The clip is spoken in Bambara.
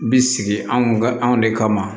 Bi sigi anw ka anw de kama